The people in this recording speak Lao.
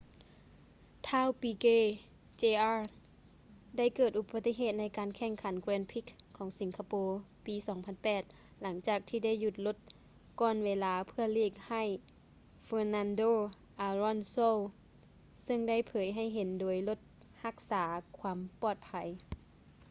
ທ້າວ ປີເກ ເຈອາຣ໌. piquet jr. ໄດ້ເກີດອຸປະຕິເຫດໃນການແຂ່ງຂັນ grand prix ຂອງສິງກະໂປ ປີ 2008 ຫຼັງຈາກທີ່ໄດ້ຢຸດລົດກ່ອນເວລາ ເພື່ອຫຼີກໃຫ້ ເຟີນັນໂດ ອາລອນໂຊ fernando alonso ຊຶ່ງໄດ້ເຜີຍໃຫ້ເຫັນໂດຍລົດຮັກສາຄວາມປອດໄພ